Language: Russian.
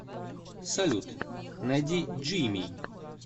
салют найди джими